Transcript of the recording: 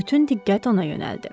Bütün diqqət ona yönəldi.